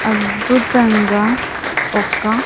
ఆద్భుతంగా ఒక్క.